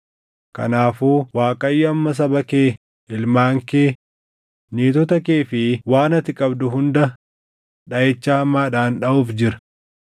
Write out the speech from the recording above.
Kanaafuu Waaqayyo amma saba kee, ilmaan kee, niitota kee fi waan ati qabdu hunda dhaʼicha hamaadhaan dhaʼuuf jira.